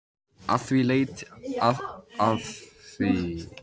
Að því leytinu til væri hann eins og svarthol.